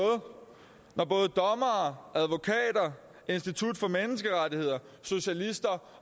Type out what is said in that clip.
når både dommere advokater institut for menneskerettigheder socialister